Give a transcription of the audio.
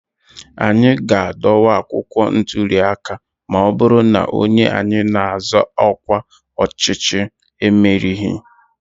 anyị ga-adọwa akwụkwọ ntụli aka ma ọ bụrụ na onye anyị na-azọ ọkwa ọchịchị merighị